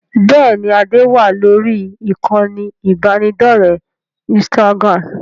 Bẹ́ẹ̀ni, ade wá lórí ìkànnì ibanidọ̀rẹ́ Instagram.